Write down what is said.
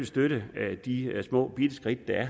støtte de små bitte skridt der